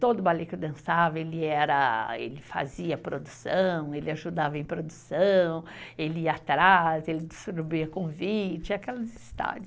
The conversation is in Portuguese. Todo o ballet que eu dançava, ele era, ele fazia produção, ele ajudava em produção, ele ia atrás, ele distribuía convite, aquelas histórias.